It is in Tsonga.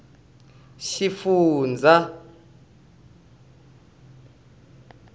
xifundzha